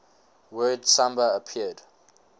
word samba appeared